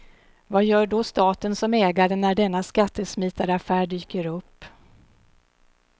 Vad gör då staten som ägare när denna skattesmitaraffär dyker upp.